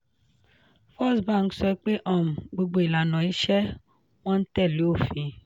firstbank sọ pé um gbogbo ìlànà iṣẹ́ wọn ń tẹ̀lé òfin.